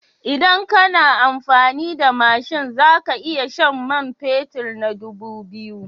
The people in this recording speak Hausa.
Idan kana amfani da mashin za ka iya shan man fetur na dubu biyu.